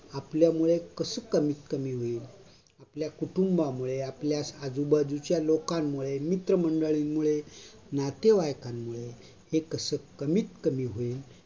आपल्यामुळे कस कमीत कमी होईल, आपल्या कुटुंबामुळे, आपल्या आजूबाजूच्या लोकांमुळे, मित्रमंडळींमुळे, नतेवाईकांमुळे हे कस कमीत कमी होईल